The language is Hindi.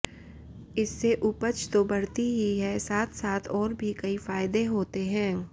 इससे उपज तो बढ़ती ही है साथ साथ और भी कई फायदे होते हैं